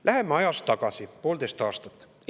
Läheme ajas poolteist aastat tagasi.